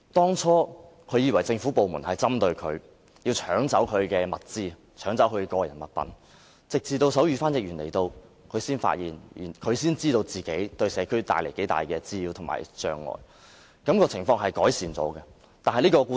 最初，他以為政府部門針對他，要搶走他的個人物品，直到手語翻譯員來到，他才知道自己對社區帶來多大的滋擾和障礙，情況其後有所改善。